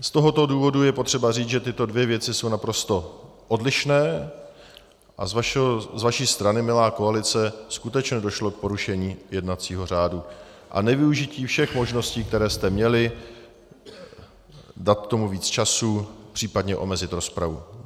Z tohoto důvodu je potřeba říct, že tyto dvě věci jsou naprosto odlišné a z vaší strany, milá koalice, skutečně došlo k porušení jednacího řádu a nevyužití všech možností, které jste měli, dát tomu víc času, příp. omezit rozpravu.